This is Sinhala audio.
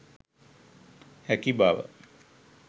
හැකි බව